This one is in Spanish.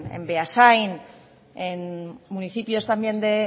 en beasain en municipios también